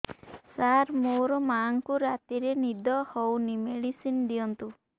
ସାର ମୋର ମାଆଙ୍କୁ ରାତିରେ ନିଦ ହଉନି ମେଡିସିନ ଦିଅନ୍ତୁ